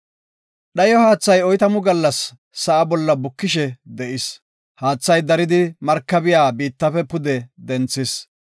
Dhayo haathay oytamu gallas sa7a bolla bukishe de7is. Haathay daridi markabiya biittafe pude denthis.